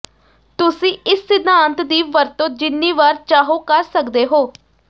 ਤੁਸੀਂ ਇਸ ਸਿਧਾਂਤ ਦੀ ਵਰਤੋਂ ਜਿੰਨੀ ਵਾਰ ਚਾਹੋ ਕਰ ਸਕਦੇ ਹੋ